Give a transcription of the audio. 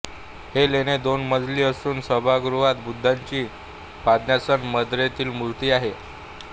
हे लेणे दोन मजली असून सभागृहात बुद्धांची पद्मासन मुद्रेतील मूर्ती आहे